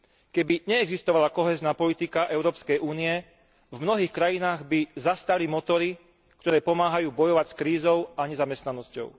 Keby neexistovala kohézna politika Európskej únie, v mnohých krajinách by zastali motory, ktoré pomáhajú bojovať s krízou a nezamestnanosťou.